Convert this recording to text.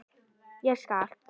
Ég elska allt.